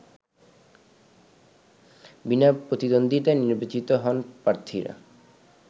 বিনা প্রতিদ্বন্দ্বিতায় নির্বাচিত হন প্রার্থীরা